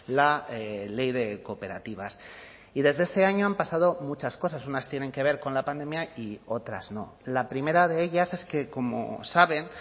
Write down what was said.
la ley de cooperativas y desde ese año han pasado muchas cosas unas tienen que ver con la pandemia y otras no la primera de ellas es que como saben